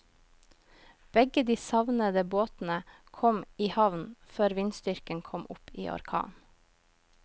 Begge de savnede båtene kom i havn før vindstyrken kom opp i orkan.